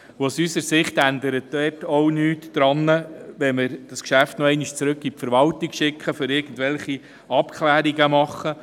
Aus unserer Sicht ändert sich dort auch nichts, wenn wir das Geschäft noch einmal in die Verwaltung schicken, um irgendwelche Abklärungen vorzunehmen.